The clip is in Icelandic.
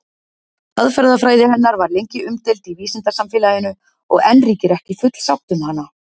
Aðferðafræði hennar var lengi umdeild í vísindasamfélaginu og enn ríkir ekki full sátt um hana.